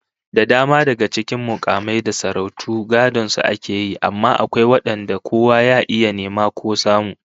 Da dama daga cikin mukamai da sarautu gadon su ake yi, amma akwai wadanda kowa ya iya nema ko samu